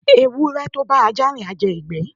ewure to bá aja rín, a jé igbe